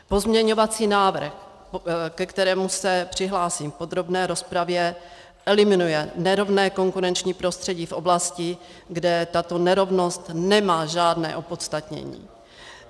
Pozměňovací návrh, ke kterému se přihlásím v podrobné rozpravě, eliminuje nerovné konkurenční prostředí v oblasti, kde tato nerovnost nemá žádné opodstatnění.